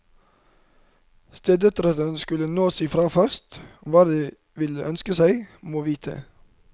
Stedøtrene skulle nå si fra først, hva de ville ønske seg, må vite.